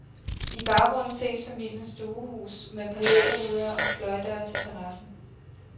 I baggrunden ses familiens stuehus med palæruder og fløjdøre til terrassen.